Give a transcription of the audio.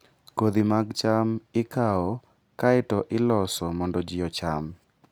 Kodhi mag cham ikawo kae to iloso mondo ji ocham.